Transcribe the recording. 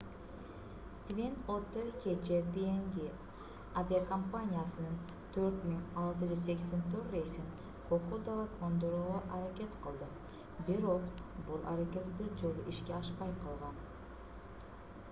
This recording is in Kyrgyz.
твин оттер кечээ пнг авиакомпаниясынын 4684 рейсин кокодага кондурууга аракет кылды бирок бул аракет бир жолу ишке ашпай калган